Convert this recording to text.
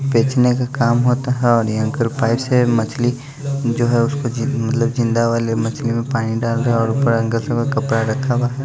बेचने का काम होता है और ये अंकल पाइप से मछली जो है उसको जी मतलब जिंदा वाले मछली में पानी डाल रहे है और ऊपर कपड़ा रखा हुआ है।